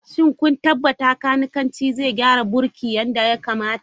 Shin kun tabbata kanikanci zai gyara birki yadda ya kamata?